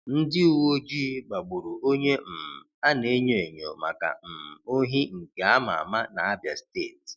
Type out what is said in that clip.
Ndị uwe ojii gbagburu onye um a n'enyo enyo maka um ohi nke a ma ama n'Abịa steeti.